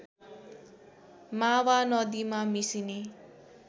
मावा नदीमा मिसिने